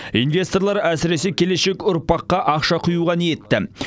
инвесторлар әсіресе келешек ұрпаққа ақша құюға ниетті